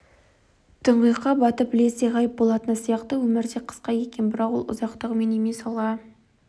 тұңғиыққа батып лезде ғайып болатыны сияқты өмір де қысқа екен бірақ ол ұзақтығымен емес алға